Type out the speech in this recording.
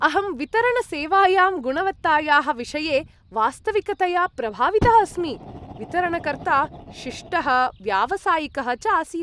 अहं वितरणसेवायां गुणवत्तायाः विषये वास्तविकतया प्रभावितः अस्मि। वितरणकर्ता शिष्टः व्यावसायिकः च आसीत् ।